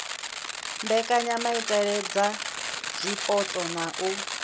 mbekanyamaitele dza zwipotso na u